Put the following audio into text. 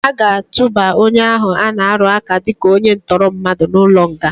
Aga atụba onye ahụ ana-arụaka dịka onye ntọrọmmadụ n'ụlọnga.